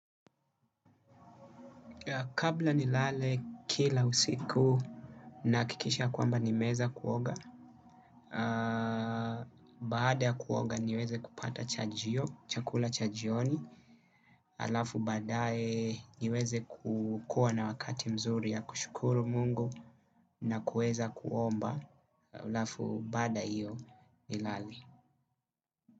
Kabla ni lale kila usiku na hakikisha kwamba nimeweza kuoga, bada ya kuoga niweze kupata chajio, chakula chajioni, alafu badae niweze kukua na wakati mzuri ya kushukuru mungu na kueza kuomba, alafu bada iyo ni lale.